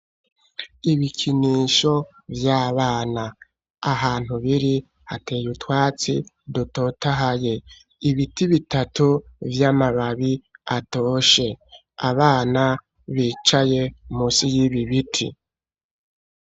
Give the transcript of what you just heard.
Ibikinisho vy'abana, ahantu biri, hateye utwatsi dutotahaye, ibiti bitatu vy'amababi atoshe, abana bicaye munsi y'ibi biti.